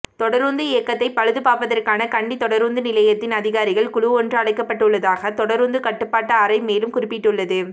தொடரூந்து இயந்திரத்தை பழுதுபார்ப்பதற்காக கண்டி தொடரூந்து நிலையத்தின் அதிகாரிகள் குழுவொன்று அழைக்கப்பட்டுள்ளதாக தொடரூந்து கட்டுப்பாட்டு அறை மேலும் குறிப்பிட்டுள்ளது